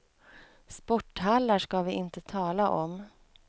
Sporthallar ska vi inte tala om.